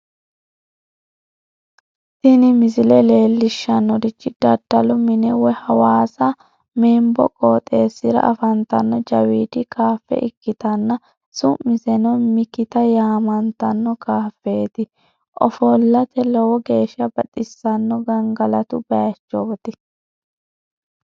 tini misile leellishshannorichi daddalu mine woy hawaasa membo qooxeessira afantanno jawiidi kaafe ikkitanna su'miseno mikita yaamantanno kaafeeti ofollate lowo geeshsha baxissanno gangalatu bayiichooti.